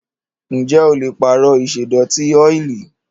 Ǹjẹ́ o le pààrọ̀ ìṣẹ́dọ̀tí ọ́ìlì?